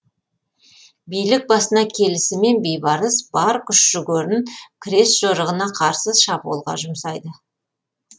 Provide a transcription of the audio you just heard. билік басына келісімен бейбарыс бар күш жігерін крест жорығына қарсы шабуылға жұмсайды